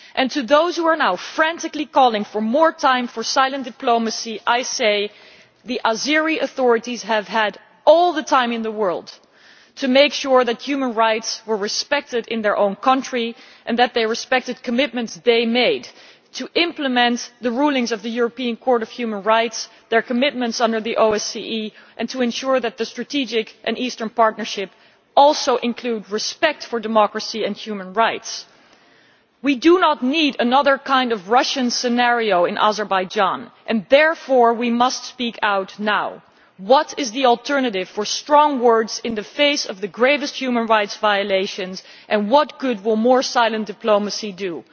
To those who are now frantically calling for more time for silent diplomacy, I say that the Azeri authorities have had all the time in the world to make sure that human rights were respected in their own country and that they respected commitments they made to implement the rulings of the European Court of Human Rights and their commitments under the OSCE, and to ensure that the Strategic and Eastern Partnerships also include respect for democracy and human rights. We do not need another kind of Russian scenario in Azerbaijan and therefore we must speak out now. What is the alternative to strong words in the face of the gravest human rights violations, and what good will more silent diplomacy do?